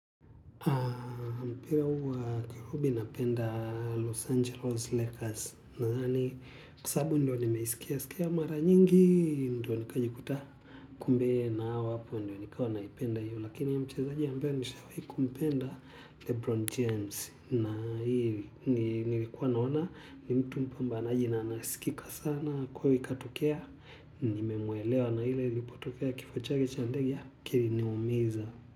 Mpira huwa kifupi napenda Los Angeles Lakers na yaani kwa sababu ndio nimeiskia skia mara nyingi ndio nikajikuta kumbe na awapo ndio nikawa naipenda hio lakini ya mchezaji ambaye nishawahi kumpenda lebron james na nilikua naona ni mtu mpambanaji sana na anayesikika sana kweli katokea nimelewa na kile kifo chake cha ndege kiliniumiza.